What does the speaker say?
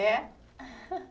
É?